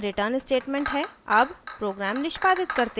अब program निष्पादित करते हैं